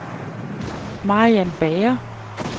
Mariann Bager